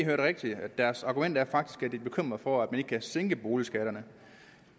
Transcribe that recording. hørte rigtigt deres argument er faktisk at de er bekymret for at man ikke kan sænke boligskatterne